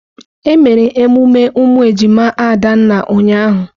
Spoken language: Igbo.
Emere emume ụmụ ejima Adanna ụnyahụ.